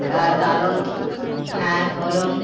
তার কারণ হ্যাঁ বলুন